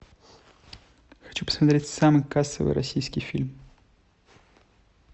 хочу посмотреть самый кассовый российский фильм